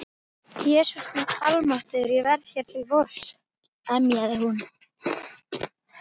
Jesús minn almáttugur, ég verð hér til vors. emjaði hún.